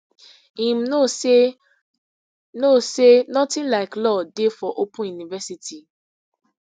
im know say know say notin like law dey for open university